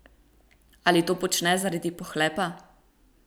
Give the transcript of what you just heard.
Ali to počne zaradi pohlepa?